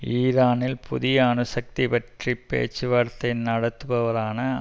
ஈரானில் புதிய அணுசக்தி பற்றி பேச்சுவார்த்தை நடத்துபவரான